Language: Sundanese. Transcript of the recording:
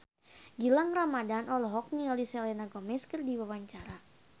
Gilang Ramadan olohok ningali Selena Gomez keur diwawancara